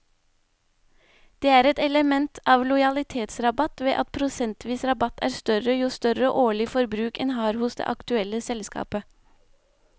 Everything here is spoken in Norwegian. Det er et element av lojalitetsrabatt ved at prosentvis rabatt er større jo større årlig forbruk en har hos det aktuelle selskapet.